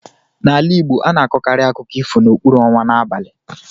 N'ala Igbo, a na-akọkarị akụkọ ifo n'okpuru ọnwa n'abalị.